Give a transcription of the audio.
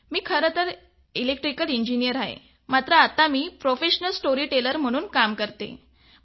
मी खरे तर electrical engineer आहे मात्र आता मी प्रोफेशनल स्टोरी टेलर म्हणून कार्यरत आहे